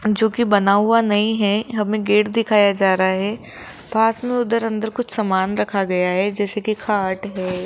जो की बना हुआ नहीं है हमे गेट दिखाया जा रहा है पास मे उधर अंदर कुछ समान रखा गया है जैसे कि खाट है।